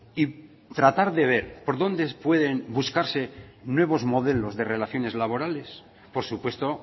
y tratar de ver por dónde pueden buscarse nuevos modelos de relaciones laborales por supuesto